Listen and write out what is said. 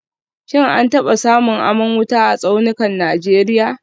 Shin an taba samun aman wuta a tsaunukan Najeriya